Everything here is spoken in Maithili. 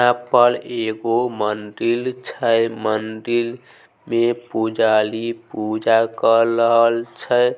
यहा पर एगो मदिर छै मदिर में पूजारी पूजा कर रहल छै।